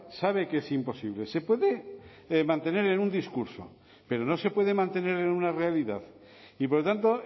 sabe que es imposible se puede mantener en un discurso pero no se puede mantener en una realidad y por lo tanto